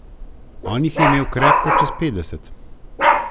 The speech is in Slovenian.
On jih je imel krepko čez petdeset.